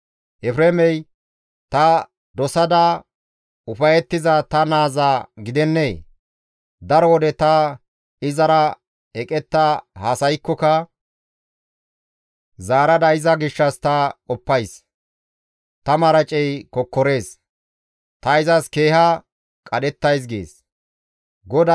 Efreemey ta dosada ufayettiza ta naaza gidennee? Daro wode ta izara eqetta haasaykkoka zaarada iza gishshas ta qoppays; ta maracey kokkorees; ta izas keeha qadhettays» gees GODAY.